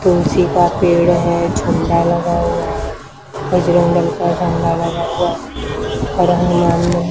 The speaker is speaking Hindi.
तुलसी का पेड़ है झंडा लगा हुआ बजरंग दल का झंडा लगा हुआ --